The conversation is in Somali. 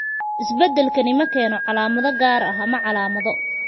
Isbeddelkani ma keeno calaamado gaar ah ama calaamado.